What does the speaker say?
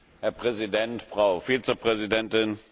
Herr Präsident, Frau Vizepräsidentin!